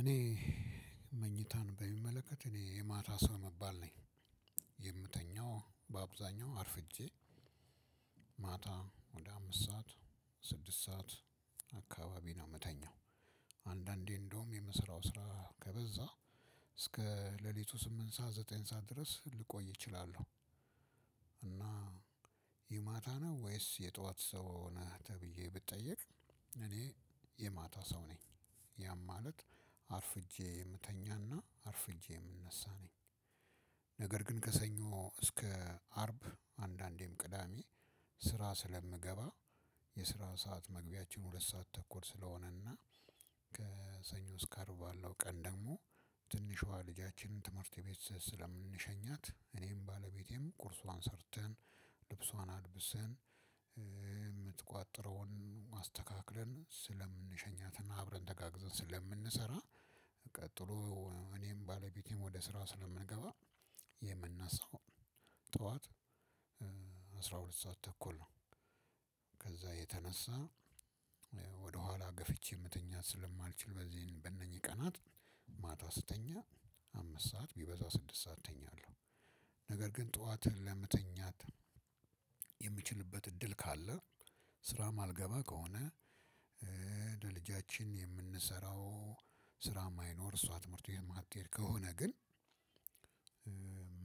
እኔ መኝታን በሚመለከት እኔ የማታ ሰው ምባል ነኝ የምተኛው በአብዛኛው አርፍጄ ማታ ወደ አምስት ሰዓት ስድስት ሰዓት አካባቢ ነው የምተኛው። አንዳንዴ እንደውም የምስራው ስራ ከበዛ እስከ ሌሊቱ ስምንት ሰዓት ዘጠኝ ሰዓት ድረስ ልቆይ እችላለሁ። እና የማታ ነው ወይስ የጧት ሰው ነህ ተብዬ ብጠየቅ እኔ የማታ ሰው ነኝ። ያም ማለት አርፍጄ የምተኛና አርፍጄ የምነሳ ነኝ። ነገር ግን ከሰኞ እስከ አርብ አንዳንዴም ቅዳሜ ስራ ስለምገባ የስራ ሰዓት መግቢያችን ሁለት ሰዓት ተኩል ስለሆነና። ከሰኞ እስከ አርብ ባለው ቀን ደግሞ ትንሿ ልጃችንን ትምህርት ቤት ስለምንሸኛት እኔም ባለቤቴም ቁርሷን ሰርተን ልብሷን አልብሰን የምትቋጥረውን አስተካክለን ስለምንሸኛትና አብረን ተጋግዘን ስለምንሰራ። ቀጥሎ እኔም ባለቤቴም ወደ ስራው ስለምንገባ የምነሳው ጠዋት አስራ ሁለት ሰዓት ተኩል ነው። ከዛ የተነሳ ገፍቼ መተኛት ስለማልችል በዚህን በእነኚህ ቀናት ማታ ስተኛ አምስት ሰዓት ቢበዛ ስድስት ሰዓት ተኛለሁ። ነገር ግን ጠዋትህን ለመተኛት የምችልበት እድል ካለ ስራ ማልገባ ከሆነ ለልጃችን የምንሰራው ስራ እማይኖር እሷ ትምህርት ቤት ማትሄድ ከሆነ ግን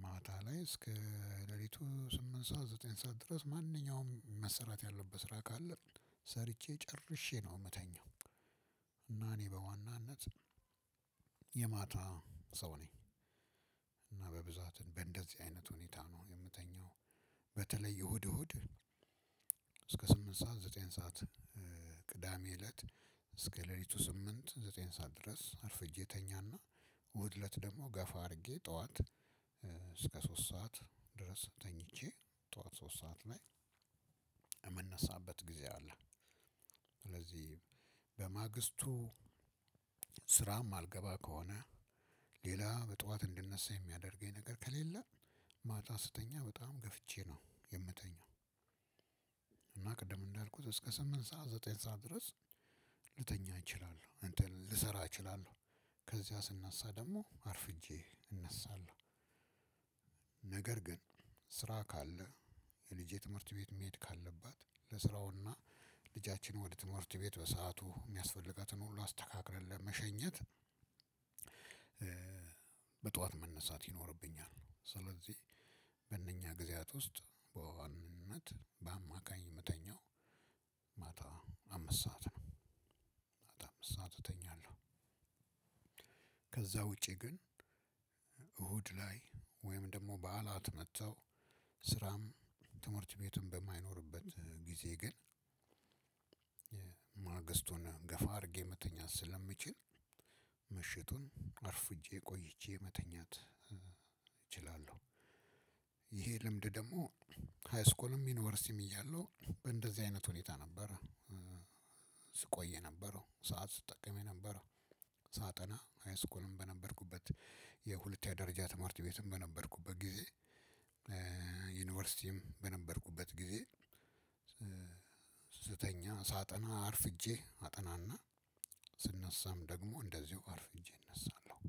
ማታ ላይ እስከ ሌሊቱ ስምንት ሰዓት ዘጠኝ ሰዓት ድረስ ማንኛውም መሰራት ያለበት ስራ ካለ ሰርቼ ጨርሼ ነው የምተኛው። እና እኔ በዋናነት የማታ ሰው ነኝ። እና በብዛት በእንደዚህ አይነት ሁኔታ ነው የምተኛው። በተለይ እሁድ እሁድ እስከ ስምንት ሰዓት ዘጠኝ ሰዓት ቅዳሜ እለት እስከ ሌሊቱ ስምንት ዘጠኝ ሰዓት ድረስ አርፍጄ ተኛና እሁድ እለት ደግሞ ገፋ አድርጌ ጠዋት እስከ ሶስት ሰዓት ድረስ ተኝቼ ጠዋት ሶስት ሰዓት ላይ የምነሳበት ጊዜ አለ። ስለዚህ በማግስቱ ስራ እማልገባ ከሆነ ሌላ በጧት እንድነሳ የሚያደርገኝ ነገር ከሌለ ማታ ስተኛ በጣም ገፍቼ ነው የምተኛው። ቅድም እንዳልኩት እስከ ስምንት ሰዓት ዘጠኝ ሰዓት ድረስ ልተኛ እችላለሁ እንትን ልሰራ እችላለሁ ከዚያ ስነሳ ደግሞ አርፍጄ እነሳለሁ። ነገር ግን ስራ ካለ ልጄ ትምህርት ቤት መሄድ ካለባት ለስራው እና ልጃችን ወደ ትምህርት ቤት በሰአቱ እሚያስፈልጋትን ሁሉ አስተካክለን ለመሸኘት በጠዋት መነሳት ይኖርብኛል። ስለዚህ በእነኛ ጊዜያት ውስጥ በዋናነት በአማካይ የምተኛው ማታ አምስት ሰዓት ነው። ማታ አምስት ሰዓት እተኛለሁ። ከዛ ውጪ ግን እሁድ ላይ ወይም ደግሞ በዓላት መጥተው ስራም ትምህርት ቤቱም በማይኖርበት ጊዜ። ግን ገፋ አድርጌ መተኛት ስለምችል ምሽቱን አርፍጄ ቆይቼ መተኛት እችላለሁ። ይሄ ልምድ ደግሞ ሃይስኩልም ዩኒቨርሲቲም እያለሁ በእንደዚህ አይነት ሁኔታ ነበር። ስቆይ የነበረው ሰዓት ስትጠቀም የነበረው ሳጠና ሃይስኩልም በነበርኩበት የሁለት ያ ደረጃ ትማርት ቤትም በነበርኩበት ጊዜ። ዩኒቨርሲቲም በነበርኩበት ጊዜ። ስተኛ ሳጠና አርፍጄ አጠናና ስነሳም ደግሞ እንደዚሁ አርፍጄ እነሳለሁ።